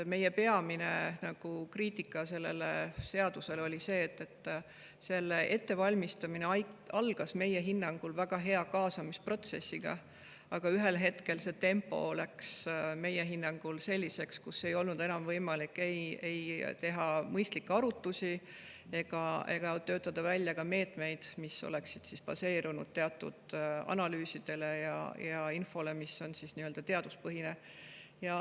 Meie peamine kriitika selle seaduse kohta oli see, et selle ettevalmistamine algas meie hinnangul väga hea kaasamisprotsessiga, aga ühel hetkel läks tempo selliseks, et ei olnud enam võimalik pidada mõistlikke arutlusi ega töötada välja meetmeid, mis oleksid baseerunud analüüsidel ja infol, mis on nii-öelda teaduspõhine.